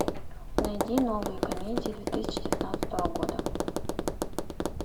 найди новые комедии две тысячи девятнадцатого года